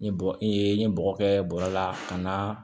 N ye bɔ n ye n ye bɔgɔ kɛ bɔrɛ la ka na